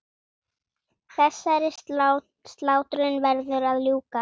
Þessari slátrun verður að ljúka.